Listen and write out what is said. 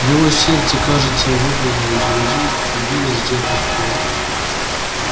его сердце кажется выпрыгнуло из груди и билось где-то в городе